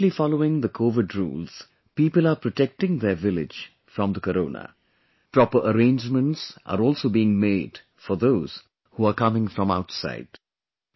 By strictly following the Covid rules, people are protecting their village from the corona, proper arrangements are also being made for those who are coming from outside